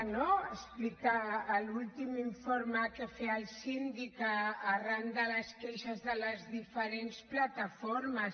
ho explica l’últim informe que feia el síndic arran de les queixes de les diferents plataformes